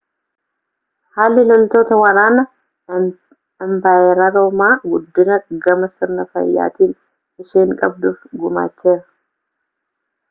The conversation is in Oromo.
haalli loltoota waraana impaayera roomaa guddina gama sirna faayyaatiin isheen qabduuf gumaacheera